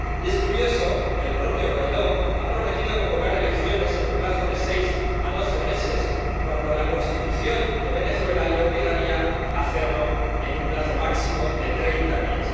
Y es curioso que el propio Guaidó haya prometido convocar elecciones en un plazo de seis a doce meses, cuando la Constitución de Venezuela le obligaría a hacerlo en un plazo máximo de treinta días.